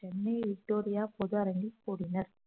Chennai Victoria பொது அரங்கில் கூடினர்